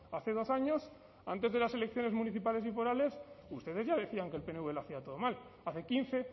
hace dos años antes de las elecciones municipales y forales ustedes ya decían que el pnv lo hacía todo mal hace quince